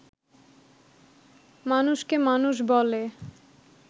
মানুষকে মানুষ বলে